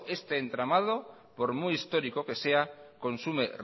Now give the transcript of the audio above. este entramado por muy histórico que sea consume